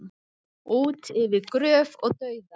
Út yfir gröf og dauða